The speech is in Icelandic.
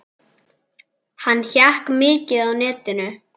Hann hékk mikið á netinu.